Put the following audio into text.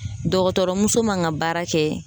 dɔgɔtɔrɔmuso man ŋa baara kɛ